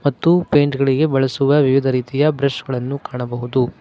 ಮತ್ತು ಪೇಂಟ್ ಗಳಿಗೆ ಬಳಸುವ ವಿವಿಧ ರೀತಿಯ ಬ್ರಷ್ ಗಳನ್ನು ಕಾಣಬಹುದು.